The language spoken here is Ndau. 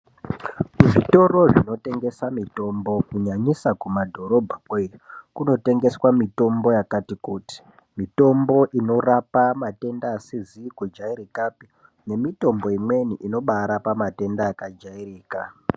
Zvitoro zvinotengesa mitombo kunyanyisa kumadhorobha ikweyo, kunotengeswa mitombo yakati kuti. Mitombo inorapa matenda asizi kujairikapi, nemitombo imweni inobaarapa matenda yakajairika.